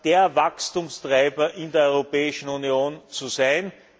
der Wachstumstreiber in der Europäischen Union zu sein.